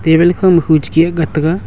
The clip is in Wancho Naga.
talbe kho ma khu che gi a taiga.